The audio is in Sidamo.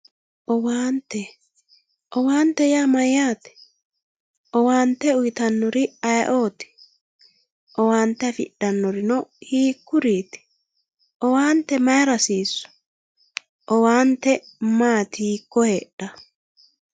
Owaante, owaante yaa mayyate, owaante uuyitanori ayeoti, owaante afidhanori hiikutiuti, owaante mayira hasisu, owaante maati hiiko heedhawo.